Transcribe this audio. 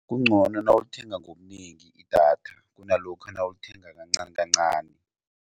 Kungcono nawulithenga ngobunengi idatha kunalokha nawulithenga kancanikancani.